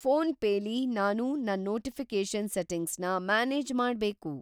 PhonePe ಲಿ ನಾನು ನನ್ ನೋಟಿಫಿ಼ಕೇಷನ್ ಸೆಟ್ಟಿಂಗ್ಸ್‌ನ ಮ್ಯಾನೇಜ್‌ ಮಾಡ್ಬೇಕು.